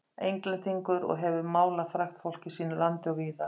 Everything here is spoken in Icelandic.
Englendingur og hefur málað frægt fólk í sínu landi og víðar.